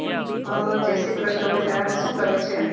હા જય શ્રી કરશ બેટા શું કરે છે